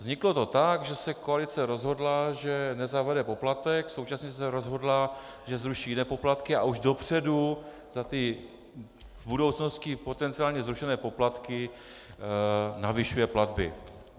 Vzniklo to tak, že se koalice rozhodla, že nezavede poplatek, současně se rozhodla, že zruší jiné poplatky, a už dopředu za ty v budoucnosti potenciálně zrušené poplatky navyšuje platby.